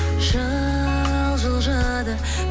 жыл жылжыды